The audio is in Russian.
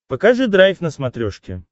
покажи драйв на смотрешке